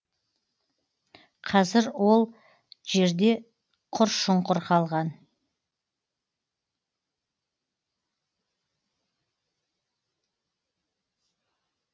қазір ол жерде құр шұңқыр қалған